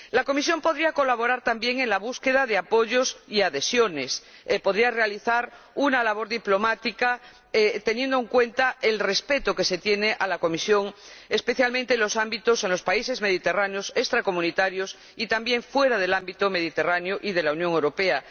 La Comisión podría colaborar, también, en la búsqueda de apoyos y adhesiones, podría realizar una labor diplomática, teniendo en cuenta el respeto que se tiene a la Comisión, especialmente en los países mediterráneos extracomunitarios y, también, fuera del ámbito mediterráneo y de la Unión Europea.